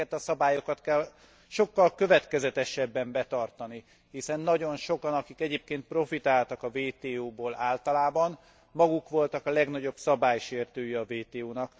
Ezeket a szabályokat kell sokkal következetesebben betartani, hiszen nagyon sokan, akik egyébkén profitáltak a WTO ból általában, maguk voltak a legnagyobb szabálysértői a WTO nak.